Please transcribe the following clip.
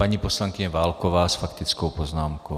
Paní poslankyně Válková s faktickou poznámkou.